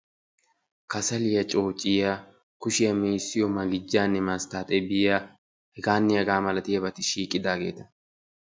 Kasaliya coocciya, kushiya me'issiyo magijanne mastaxabiya heganne hega malariyaabati shiiqodaageeta.